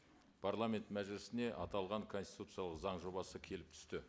парламент мәжілісіне аталған конституциялық заң жобасы келіп түсті